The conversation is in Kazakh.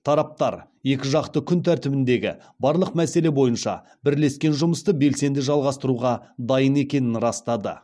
тараптар екіжақты күн тәртібіндегі барлық мәселе бойынша бірлескен жұмысты белсенді жалғастыруға дайын екенін растады